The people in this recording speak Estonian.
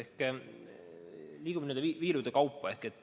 Me liigume n-ö viirude kaupa.